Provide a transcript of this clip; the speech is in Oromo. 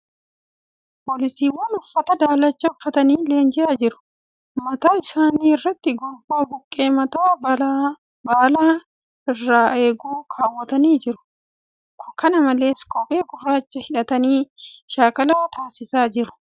Poolisiiwwan uffata daalacha uffatan leenji'aa jiru. Mataa isaanii irratti gonfoo buqqee mataa balaa irraa eegu keewwatanii jiru. Kana malees, kophee gurraacha hidhatatanii shaakala taasisaa jiru. Isaaniin achitti bosonni biqiltuu baargamoo ni jira.